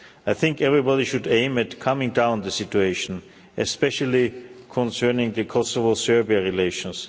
I think everybody should aim at calming down the situation, especially concerning the Kosovo Serbia relations.